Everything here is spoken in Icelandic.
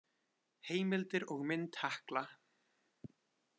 Heimildir og mynd Hekla.